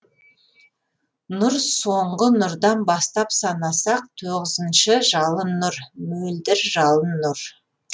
нұр соңғы нұрдан бастап санасақ тоғызыншы жалын нұр мөлдіржалын нұр